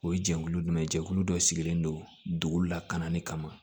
O ye jɛkulu jumɛn ye jɛkulu dɔ sigilen don dugu lakananni kama